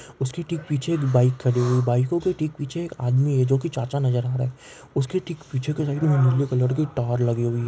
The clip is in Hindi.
उसके ठीक पीछे एक बाईक खड़ी हुई बाईको के ठीक पीछे एक आदमी है जो कि चाचा नज़र आ रहा है उसके ठीक पीछे नीले कलर की टॉर लगी हुई है।